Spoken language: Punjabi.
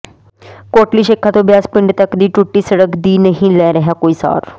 ਕੋਟਲੀ ਸ਼ੇਖਾ ਤੋਂ ਬਿਆਸ ਪਿੰਡ ਤੱਕ ਦੀ ਟੁੱਟੀ ਸੜਕ ਦੀ ਨਹੀਂ ਲੈ ਰਿਹਾ ਕੋਈ ਸਾਰ